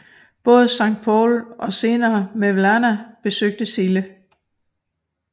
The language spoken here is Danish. Både Sankt Paul og senere Mevlana besøgte Sille